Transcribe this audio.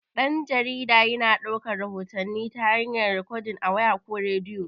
Dan-jarida yana daukar rahotanni ta hayar rikodin a waya, ko rediyo.